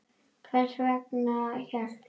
En hvers vegna hélt